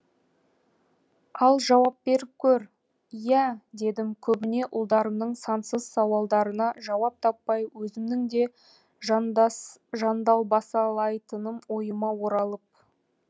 ал жауап беріп көр иә дедім көбіне ұлдарымның сансыз сауалдарына жауап таппай өзімнің де жан далбасалайтыным ойыма оралып